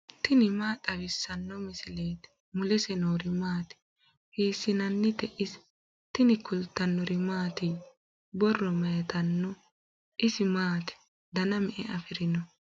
tini maa xawissanno misileeti ? mulese noori maati ? hiissinannite ise ? tini kultannori mattiya? Borro mayiittano? isi maatti? danna me'e afirinno?